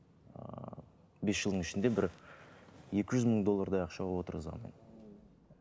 ы бес жылдың ішінде бір екі жүз мың доллардай ақша отырғызған